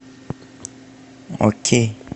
окей